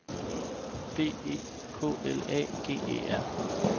B E K L A G E R